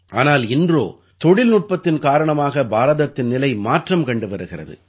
ஆனால் இன்றோ தொழில்நுட்பத்தின் காரணமாக பாரதத்தின் நிலை மாற்றம் கண்டு வருகிறது